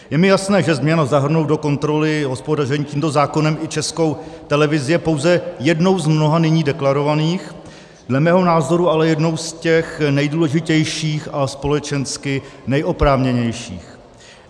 Je mi jasné, že změna zahrnout do kontroly hospodaření tímto zákonem i Českou televizi je pouze jednou z mnoha nyní deklarovaných, dle mého názoru, ale jednou z těch nejdůležitějších a společensky nejoprávněnějších.